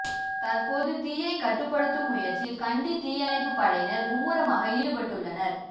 தற்பொழுது தீயைக் கட்டுப்படுத்தும் முயற்சியில் கண்டி தீயணைப்புப் படையினர் மும்முரமாக ஈடுபட்டுள்ளனர்